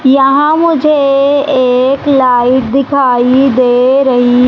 यहां मुझे एक लाइट दिखाइ दे रही--